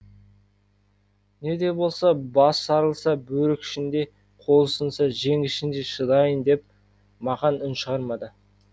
не де болса бас жарылса бөрік ішінде қол сынса жең ішінде шыдайын деп мақан үн шығармады